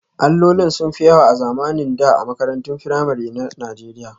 Allolin sun fi yawa a zamanin da a makarantun firamare na Najeriya